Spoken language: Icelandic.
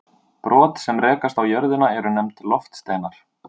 Brot sem rekast á jörðina eru nefnd loftsteinar.